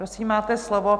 Prosím, máte slovo.